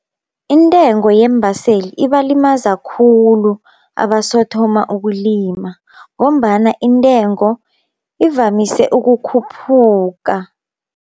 Intengo yeembaseli ibalimaza khulu abasothoma ukulima, ngombana intengo ivamise ukukhuphuka.